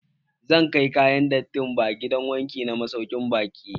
Zan kai kayan datti ba gidan wanki na masaukin baƙi.